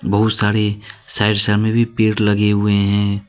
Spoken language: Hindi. बहुत सारे साइड भी पेड़ लगे हुए हैं।